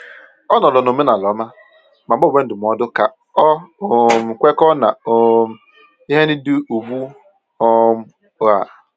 Ọ nọọrọ n’omenala ọma, ma gbanwee ndụmọdụ ka ọ um kwekọọ na um ihe ndị dị ugbu um a.